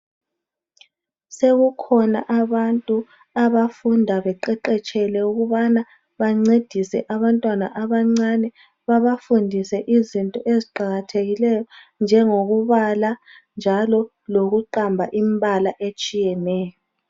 Sekukhona abantu abafunda beqeqetshele ukubana bancedise abantwana abancane, babafundise izinto eziqakathekileyo, njengokubala njalo lokuqamba imibala etshiyeneyo.